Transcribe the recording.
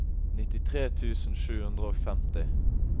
nittitre tusen sju hundre og femti